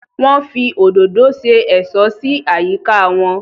Wọ́n fi òdòdó se ẹ̀ṣọ́ sí àyíká wọn